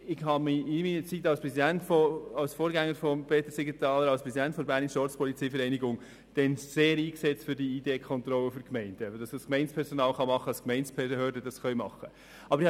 Ich habe mich in meiner Zeit als Präsident der Bernischen Ortspolizeivereinigung (BOV), als Vorgänger von Peter Siegenthaler sehr dafür eingesetzt, dass das Gemeindepersonal und die Gemeindebehörden Identitätskontrollen machen können.